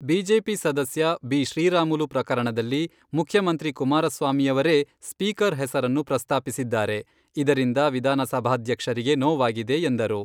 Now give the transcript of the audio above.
BJP ಸದಸ್ಯ B. Sriramulu ಪ್ರಕರಣದಲ್ಲಿ ಮುಖ್ಯಮಂತ್ರಿ ಕುಮಾರಸ್ವಾಮಿಯವರೇ, ಸ್ಪೀಕರ್ ಹೆಸರನ್ನು ಪ್ರಸ್ತಾಪಿಸಿದ್ದಾರೆ , ಇದರಿಂದ ವಿಧಾನಸಭಾಧ್ಯಕ್ಷರಿಗೆ ನೋವಾಗಿದೆ" ಎಂದರು.